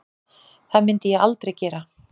Það myndi ég aldrei gera